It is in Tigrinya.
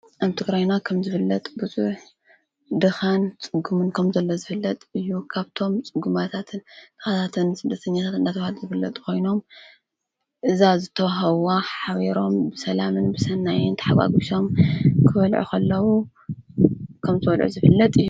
ኣም ትግረይና ኸም ዝፍለጥ ብዙኅ ድኻን ጽጉሙን ከም ዘለ ዝፍለጥ እዩ ካብቶም ጽጉማታትን ተኻታትን ስደተኛታት እናተዋል ዝፍለጥ ኾይኖም እዛ ዘተውሃዋ ሓቢሮም ብሰላምን ብሠናየን ተሓዋጕሶም ክበልዑኸለዉ ከም ዝበልዑ ዝፍለጥ እዩ፡፡